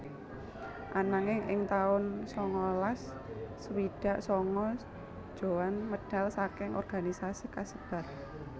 Ananging ing taun sangalas swidak sanga Djohan medal saking organisasi kasebat